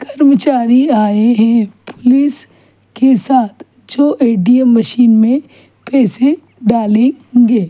कर्मचारी आये है पुलिस के साथ जो ऐ. टी. एम्. मशीन में पैसे डालंगे--